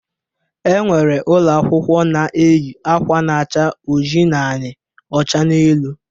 E nwere ụlọakwụkwọ na-eyi akwa na-acha oji n'anị, ọcha n'elu.